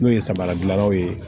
N'o ye samara dilannaw ye